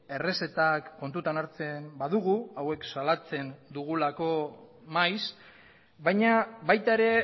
errezetak kontutan hartzen badugu hauek salatzen dugulako maiz baina baita ere